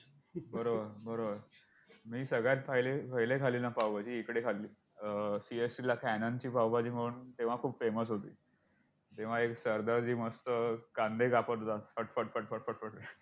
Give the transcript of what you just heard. बरोबर, बरोबर! मी सगळ्यात पहिले~पहिले खाल्ली ना पावभाजी इकडे खाल्ली, अं CST ला canan ची पावभाजी म्हणून तेव्हा खूप famous होती! तेव्हा, एक सरदारजी मस्त कांदे कापत होता पटपट पटपट पटपट.